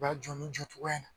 U y'a jɔ nin jɔcogoya ye.